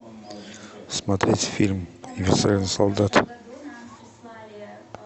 смотреть фильм универсальный солдат